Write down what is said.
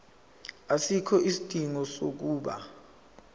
asikho isidingo sokuba